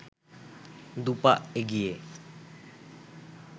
দু’পা এগিয়ে